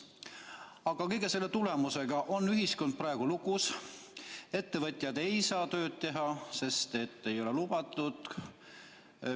Aga kõige selle tõttu on ühiskond praegu lukus, ettevõtjad ei saa tööd teha, sest ei ole lubatud.